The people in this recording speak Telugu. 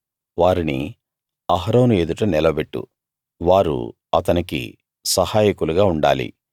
వారిని అహరోను ఎదుట నిలబెట్టు వారు అతనికి సహాయకులుగా ఉండాలి